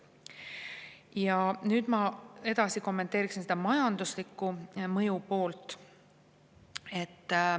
Ja nüüd ma edasi kommenteeriksingi seda majanduslikku mõju.